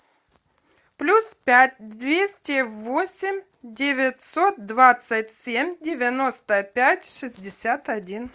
плюс пять двести восемь девятьсот двадцать семь девяносто пять шестьдесят один